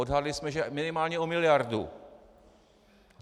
Odhadli jsme, že minimálně o miliardu.